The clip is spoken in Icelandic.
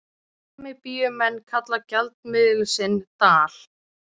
Namibíumenn kalla gjaldmiðil sinn dal.